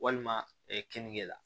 Walima keninge la